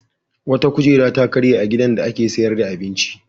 Wata kujera ta karye a gidan da ake sayar da abinci.